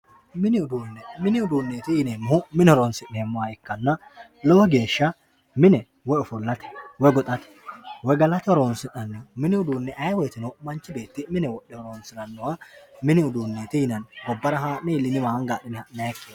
Mini uduune mini uduuneti yineemmohu mine horonsi'neemmoha ikkanna lowo geeshsha mine woyi ofollate woyi goxate woyi galate horonsi'naniho mini uduuni ayee woyteno manchi beetti mine wodhe horonsiranoha mini uduuneti yinanni gobbara iilliniwa haa'ne ha'nanikkiha.